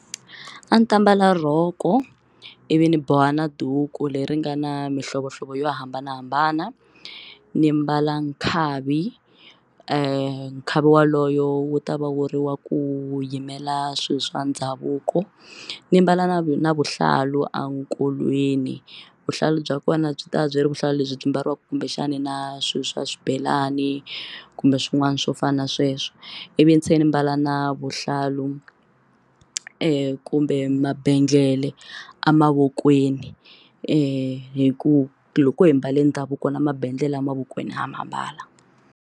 A ni ta mbala rhoko i vi ni boha na duku leri nga na mihlovohlovo yo hambanahambana ni mbala nkhavi nkhavi waloyo wu ta va wu ri wa ku yimela swilo swa ndhavuko ni mbala na na vuhlalu enkolweni vuhlalu bya kona byi va byi ri vuhlalu lebyi byi mbariwaka kumbexani na swilo swa swibelani kumbe swin'wana swo fana na sweswo i vi ni tshe ni mbala a na vuhlalu ku kumbe mabendlele amavokweni hi ku loko hi mbale ndhavuko na mabendlele emavokweni ha ma mbala.